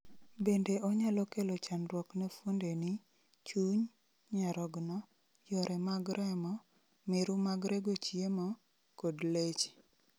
bende onyalo kelo chandruok ne fuondeni, chuny, nyarogno, yore mag remo, miru mag rego chiemo, kod leche